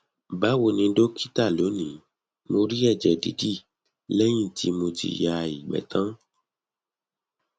bawo ni dókítà lónìí mo rí ẹjẹ didi lẹyìn tí mo ti ya igbe tan